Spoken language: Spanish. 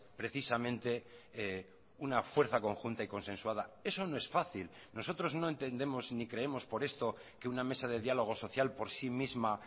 precisamente una fuerza conjunta y consensuada eso no es fácil nosotros no entendemos ni creemos por esto que una mesa de dialogo social por sí misma